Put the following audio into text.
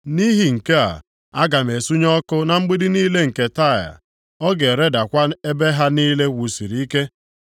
Nʼihi nke a, aga m esunye ọkụ na mgbidi niile nke Taịa; ọ ga-eredakwa ebe ha niile e wusiri ike.”